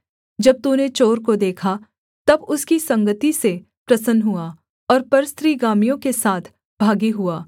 जब तूने चोर को देखा तब उसकी संगति से प्रसन्न हुआ और परस्त्रीगामियों के साथ भागी हुआ